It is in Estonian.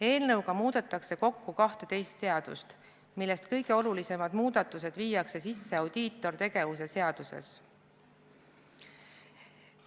Eelnõuga muudetakse kokku 12 seadust, kõige olulisemad muudatused viiakse sisse audiitortegevuse seadusesse.